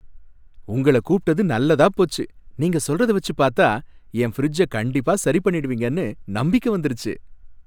உங்கள கூப்பிட்டது நல்லதா போச்சு! நீங்க சொல்றத வச்சு பார்த்தா என் ஃபிரிட்ஜ கண்டிப்பா சரி பண்ணிடுவீங்கன்னு நம்பிக்கை வந்துருச்சு.